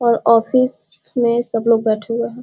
और ऑफिस सस में सब लोग बैठे हुए हैं।